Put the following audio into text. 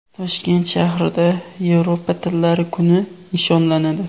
Toshkent shahrida Yevropa tillari kuni nishonlanadi.